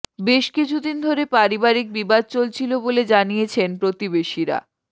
বেশ কিছুদিন ধরে পারিবারিক বিবাদ চলছিল বলে জানিয়েছেন প্রতিবেশীরা